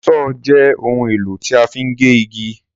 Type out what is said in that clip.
Sọ́ọ́ọ̀ jẹ́ ohun-èlò tí a fi ń gé igi.